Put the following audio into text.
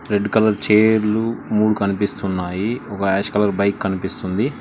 Red colour చైర్లు మూడు కనిపిస్తున్నాయి ఒక ఆష్ కలర్ బైక్ కనిపిస్తుంది.